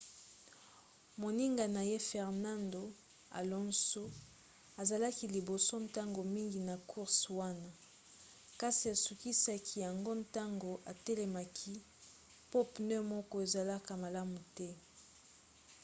moninga na ye fernando alonso azalaki liboso ntango mingi na course wana kasi asukisaki yango ntango atelemaki po pneu moko ezalaka malamu te